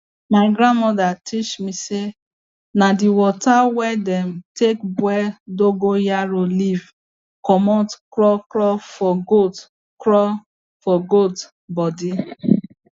mi grandmoda teach me say na di water wey dem take boil dogon yaro leaf commot kro kro for goat kro for goat bodi